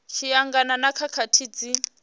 tshi angana na khakhathi dzi